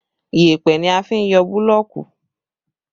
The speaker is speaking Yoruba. Yẹpẹ ni a fi n yọ búlọ̀ọ̀kù